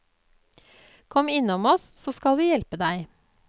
Kom innom oss så skal vi hjelpe deg.